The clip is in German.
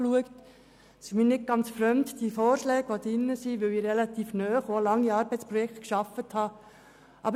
Die Vorschläge sind mir nicht ganz fremd, da ich relativ lange in Arbeitsprojekten gearbeitet habe.